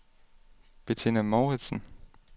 Betina Mouritsen